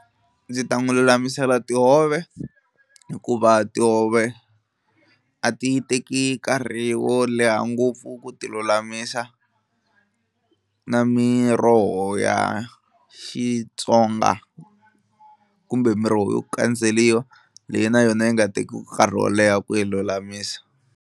Ndzi ta n'wi lulamisela tihove hikuva tihove a ti teki nkarhi wo leha ngopfu ku ti lulamisa na miroho ya Xitsonga kumbe miroho yo kandzeliwa leyi na yona yi nga tekiki nkarhi wo leha ku yi lulamisa.